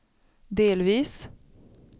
delvis